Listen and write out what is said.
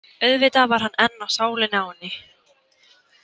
Auðvitað var hann enn á sálinni á henni.